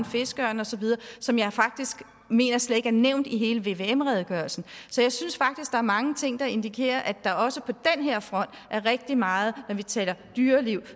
fiskeørne og så videre som jeg faktisk mener slet ikke er nævnt i hele vvm redegørelsen så jeg synes faktisk der er mange ting der indikerer at der også på den her front er rigtig meget når vi taler dyreliv